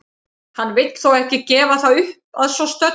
Hann vill þó ekki gefa það upp að svo stöddu.